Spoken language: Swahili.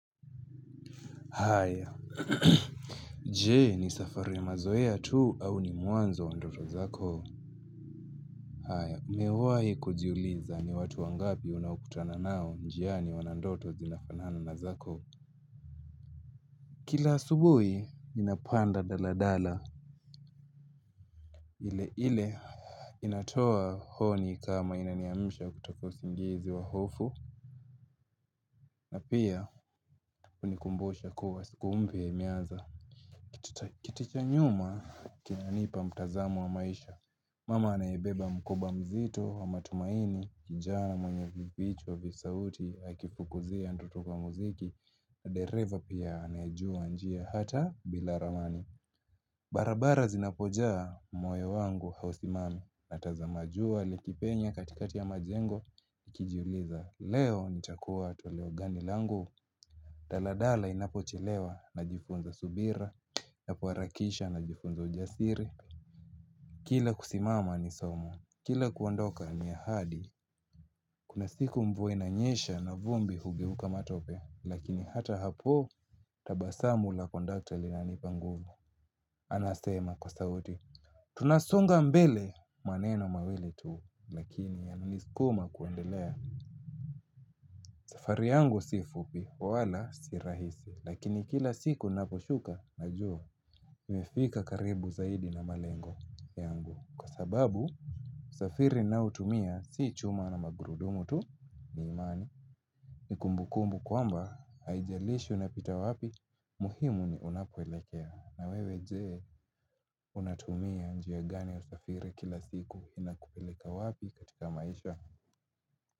Haya, je ni safari ya mazoea tu au ni mwanzo wa ndoto zako? Haya, nimewahi kujiuliza ni watu wangapi unaokutana nao njiani wana ndoto zinafanana na zako. Kila subuhi, ninapanda daladala. Ile ile, inatoa honi kama inaniamsha kutoka usingizi wa hofu. Na pia, hunikumbusha kuwa siku mpya imeanza. Kiti cha nyuma, kinanipa mtazamo wa maisha. Mama anayebeba mkoba mzito wa matumaini, njaa na mwenye vipichwa vya sauti, akifukuzia ndoto kwa muziki, na dereva pia anayejua njia hata bila ramani. Barabara zinapojaa moyo wangu hausimami, natazama jua likipenya katikati ya majengo, nikijuliza leo nitakuwa toleo gani langu. Daladala inapochelewa najifunza subira, nakuharakisha najifunza ujasiri. Kila kusimama ni somo, kila kuondoka ni ahadi, kuna siku mvua inanyesha na vumbi hugeuka matope, lakini hata hapo tabasamu la kondakta linanipa nguvu, anasema kwa sauti. Tunasonga mbele maneno mawili tu, lakini yananisukuma kuendelea. Safari yangu si fupi, wala si rahisi, lakini kila siku naposhuka najua nimefika karibu zaidi na malengo yangu kwa sababu usafiri ninaohutumia si chuma na magurudumu tu ni imani. Nikumbukumbu kwamba haijalishi unapita wapi muhimu ni unapoelekea na wewe je. Unatumia njia gani ya usafiri kila siku inakupeleka wapi katika maisha?